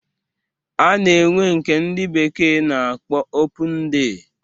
A na-enwe nke ndị bekee na-akpọ opun dey